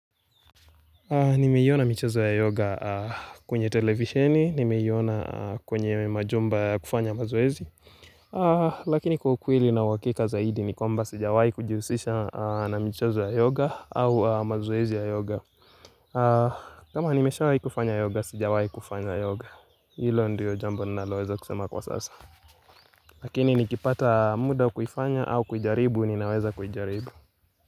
Nimeiona michezo ya yoga kwenye televisheni, nimeiona kwenye majumba ya kufanya mazoezi Lakini kwa ukweli na uhakika zaidi ni kwamba sijawahi kujihusisha na michezo ya yoga au mazoezi ya yoga kama nimeshawahi kufanya yoga, sijawahi kufanya yoga Hilo ndiyo jambo ninaloweza kusema kwa sasa Lakini nikipata muda wa kuifanya au kujaribu, ninaweza kuijaribu.